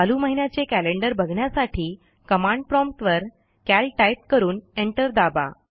चालू महिन्याचे कॅलेंडर बघण्यासाठी कमांड प्रॉम्प्ट वर कॅल टाईप करून एंटर दाबा